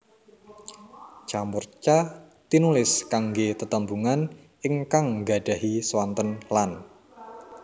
Ca murca tinulis kanggé tetembungan ingkang nggadahi swanten lan